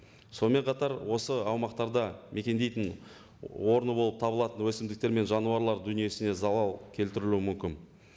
сонымен қатар осы аумақтарда мекендейтін орны болып табылатын өсімдіктер мен жануарлар дүниесіне залал келтірілуі мүмкін